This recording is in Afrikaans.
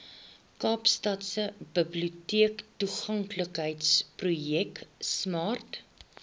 kaapstadse biblioteektoeganklikheidsprojek smart